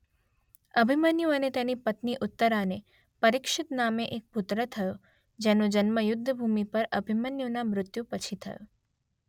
અભિમન્યુ અને તેની પત્ની ઉત્તરાને પરિક્ષિત નામે એક પુત્ર થયો જેનો જન્મ યુદ્ધભૂમિ પર અભિમન્યૂના મૃત્યુ પછી થયો.